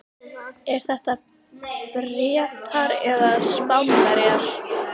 Eru þetta Bretar eða Spánverjar?